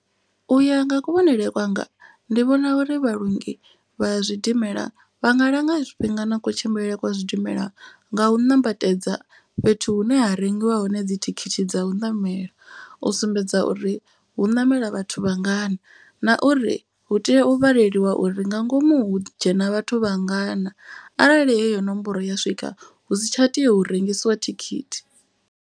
U ya nga kuvhonele kwanga ndi vhona uri vhalongi vha zwidimela vha nga langa zwifhinga na kutshimbilele kwa zwidimela nga u ṋambatedza. Fhethu hune ha rengiwa hone dzi thikhithi dza u ṋamela u sumbedza uri hu ṋamela vhathu vha ngana. Na uri hu tea u vhaleliwa uri nga ngomu dzhena vhathu vha ngana arali heyo nomboro ya swika u si tsha tea hu rengisiwa thikhithi.